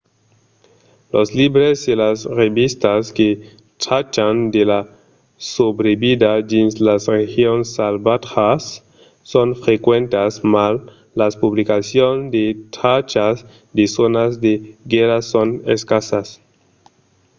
los libres e las revistas que trachan de la subrevida dins las regions salvatjas son frequentas mas las publicacions que trachas de zònas de guèrra son escassas